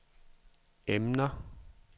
emner